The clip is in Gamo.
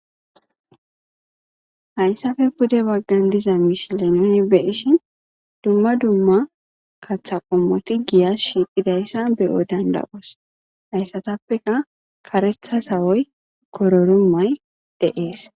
hayssafe pude baggan diza misile nuni be7ishin dumma dumma katha qommoti giya shiiqidayssa be7o danda7oos hayssatappeka karetha sawoy kororumay de7ees